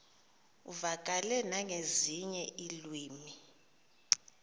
uvakale nangezinye iilwimi